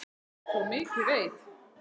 Svo mikið veit